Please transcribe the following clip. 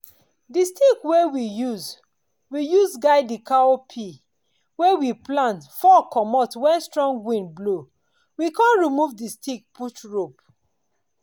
the stick wey we use we use guide the cowpea wey we plant fall commot wen strong wind blow—we con remove the stick put rope.